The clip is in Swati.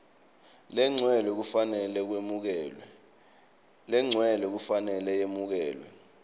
legcwele kufanele kwemukelwe